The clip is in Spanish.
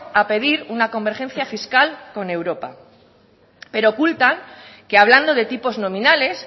a pedir una convergencia fiscal con europa pero ocultan que hablando de tipos nominales